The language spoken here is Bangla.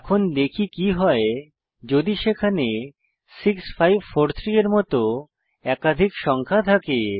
এখন দেখি কি হয় যদি সেখানে 6543 এর মত একাধিক সংখ্যা থাকে